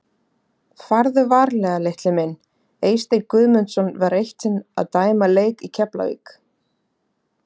Farðu varlega litli minn Eysteinn Guðmundsson var eitt sinn að dæma leik í Keflavík.